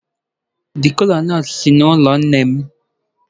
The kola-nut si n'ụlọ nne m.